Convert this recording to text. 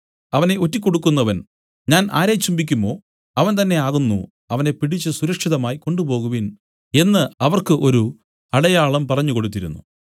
അവനെ ഒറ്റികൊടുക്കുന്നവൻ ഞാൻ ആരെ ചുംബിക്കുമോ അവൻ തന്നേ ആകുന്നു അവനെ പിടിച്ച് സുരക്ഷിതമായി കൊണ്ടുപോകുവിൻ എന്നു അവർക്ക് ഒരു അടയാളം പറഞ്ഞുകൊടുത്തിരുന്നു